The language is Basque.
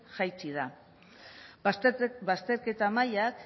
jaitsi da bazterketa mailak